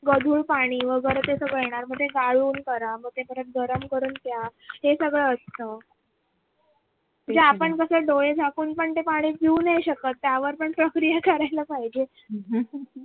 गढूळ पाणी मग ते सगळं येणार मग ते गाळून घ्या मग परत ते गाळून घ्या गरम करून प्या हे सगळं असत म्हणजे आपण कस आहे डोळे झाकून ते पाणी पिऊ नाही शकत त्यावर पण प्रक्रिया करायला पाहिजे